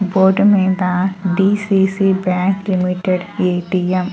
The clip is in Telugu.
బోర్డు మీద డీ_సీ_సీ బ్యాంక్ లిమిటెడ్ ఎ.టి.ఎం --